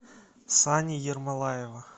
сани ермолаева